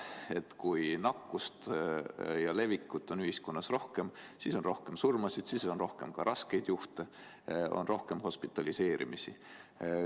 Et kui nakkust ja levikut on ühiskonnas rohkem, siis on rohkem surmasid, siis on rohkem ka raskeid juhte, on rohkem hospitaliseerimist.